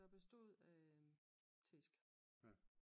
Der bestod af tæsk